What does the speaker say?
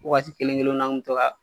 Waati kelen kelena an kun mi to ka